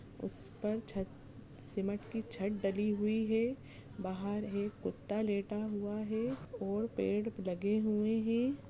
उस पर छत सिमेंट की छत डली हुयी है बाहर एक कुत्ता लेटा हुआ है और पेड़ लगे हुए है।